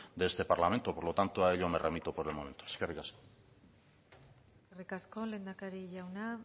de este parlamento por lo tanto a ello me remito por el momento eskerrik asko eskerrik asko lehendakari jauna